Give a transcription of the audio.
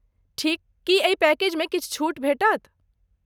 ठीक। की एहि पैकेजमे किछु छूट भेटत?